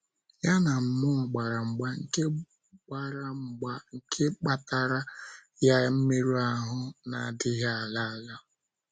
Ya na mmụọ gbara mgba nke gbara mgba nke kpataara ya mmerụ ahụ́ na - adịghị ala ala.